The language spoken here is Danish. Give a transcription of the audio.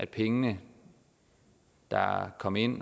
pengene der kom ind